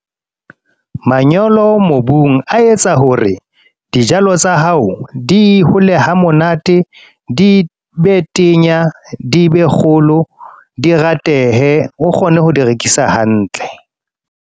Manyolo mobung, a etsa hore dijalo tsa hao di hole ha monate. Di be tenya, di be kgolo, di ratehe. O kgone ho di rekisa hantle.